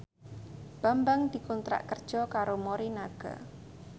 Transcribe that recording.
Bambang dikontrak kerja karo Morinaga